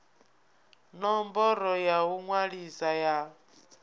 ṋomboro ya u ṅwalisa ya